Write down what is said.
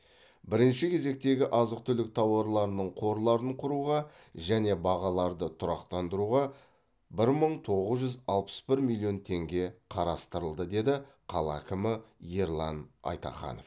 бірінші кезектегі азық түлік тауарларының қорларын құруға және бағаларды тұрақтандыруға бір мың тоғыз жүз алпыс бір миллион теңге қарастырылды деді қала әкімі ерлан айтаханов